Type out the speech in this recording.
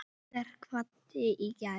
Óttar kvaddi í gær.